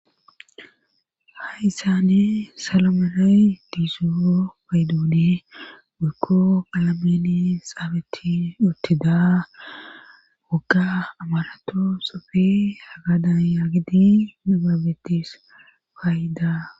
Hayssani salo merani diizoo paydoone woykko qaalani xaafeti uttida wogga amarato xuufe hagadan yaagidi nibabetis faayida